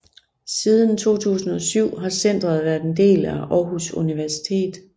Siden 2007 har centret været en del af Aarhus Universitet